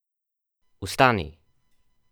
Vstani!